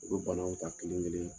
U bɛ banaw ta kelen kelen